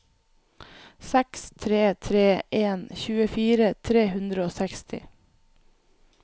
seks tre tre en tjuefire tre hundre og seksti